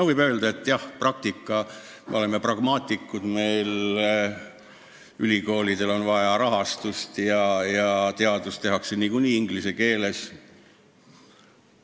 Võib öelda, et jah, me oleme pragmaatikud – ülikoolidel on vaja rahastust ja teadust tehakse niikuinii inglise keeles.